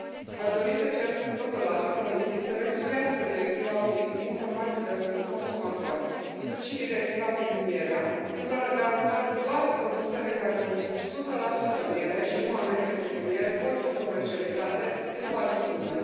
Aș dori să cer, totodată, Comisiei să revizuiască Directiva privind informațiile pentru consumatori cât și Directiva privind mierea, pentru a garanta că doar produsele care conțin 100 miere și nu amestecuri cu miere pot fi comercializate sub acest nume.